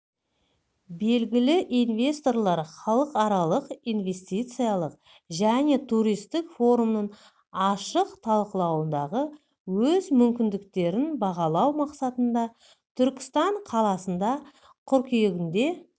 белгілі инвесторлар халықаралық инвестициялық және туристік форумның ашық талқылауындағы өз мүмкіндіктерін бағалау мақсатында түркістан қаласында қыркүйегінде